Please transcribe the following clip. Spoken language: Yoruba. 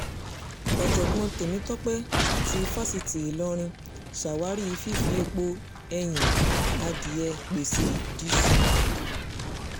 ọ̀jọ̀gbọ́n tèmítọ́pẹ́ ti fásitì ìlọrin ṣàwárí fífi èèpo ẹ̀yìn adìẹ pèsè dììṣù